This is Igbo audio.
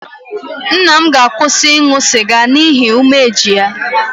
Nna m ga-akwụsị ịṅụ sịga n'ihi umeji ya